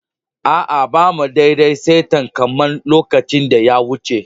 Aa, ba mu dadde a'saitan kaman lokacin da ya wuce ba.